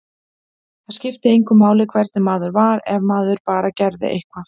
Það skipti engu máli hvernig maður var, ef maður bara gerði eitthvað.